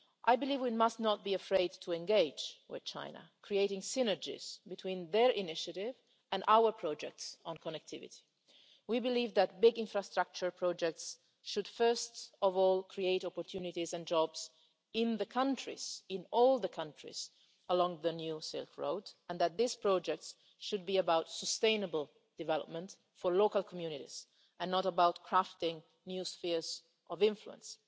I believe we must not be afraid to engage with China, creating synergies between their initiative and our projects on connectivity. We believe that big infrastructure projects should, first of all, create opportunities and jobs in all the countries along the New Silk Road, and that these projects should be about sustainable development for local communities and not about crafting new spheres of influence.